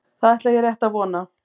Það ætla ég rétt að vona.